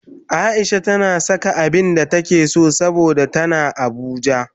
Aisha tana saka abinda take so saboda tana abuja